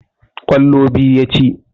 Ƙwallo biyu ya ci.